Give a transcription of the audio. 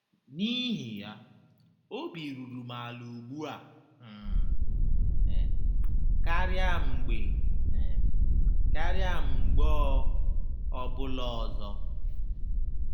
N’ihi ya, obi ruru m ala ugbu a um karịa mgbe um karịa mgbe ọ ọbụla ọzọ.